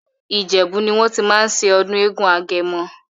Ìjèbú ní wọ́n tí máa ń ṣe ọdún eégún agẹmọ.